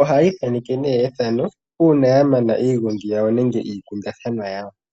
ohayithaneke ne ethano una yamana iingongi yawo nenge ikundathanwa yawo.